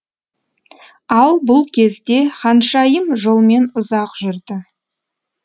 ал бұл кезде ханшайым жолмен ұзақ жүрді